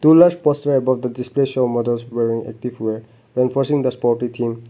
pullars pose way above the display show models wearing ethnic wear enforcing the sportive theme.